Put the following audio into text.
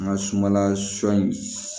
An ka sumala sɔ in